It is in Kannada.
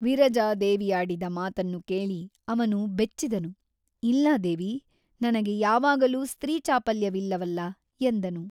ವಿರಜಾದೇವಿಯಾಡಿದ ಮಾತನ್ನು ಕೇಳಿ ಅವನು ಬೆಚ್ಚಿದನು ಇಲ್ಲ ದೇವಿ ನನಗೆ ಯಾವಾಗಲೂ ಸ್ತ್ರೀ ಚಾಪಲ್ಯವಿಲ್ಲ ವಲ್ಲ ಎಂದನು.